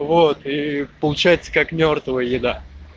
вот и получается как мёртвая еда